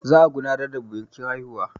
Yau za a gudanar da biƙin hauwa